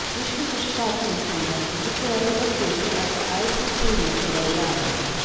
विश्वचषकातील संघात किती खेळाडू असतील हे आता आयसीसीने ठरवले आहे